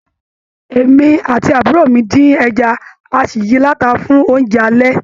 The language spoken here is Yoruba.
Èmi àti àbúrò mi din ẹja, a sì yìí lata fún oúnjẹ alẹ́.